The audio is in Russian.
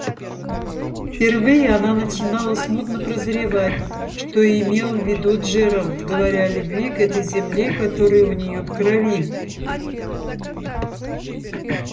впервые она начинала смутно прозревать что имел в виду джералд говоря о любви к этой земле которая у нее в крови